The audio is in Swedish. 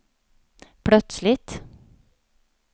plötsligt